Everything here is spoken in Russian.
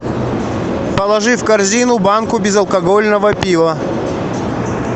положи в корзину банку безалкогольного пива